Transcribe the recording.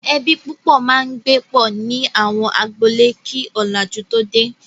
Ẹbí púpọ̀ máa ń gbé pọ̀ ní àwọn agboolé kí ọ̀làjú tó dé.